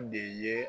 De ye